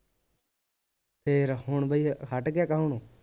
ਫੇਰ ਹੁਣ ਬਈ ਹੱਟ ਗਿਆ ਕਹਾਉਣੋ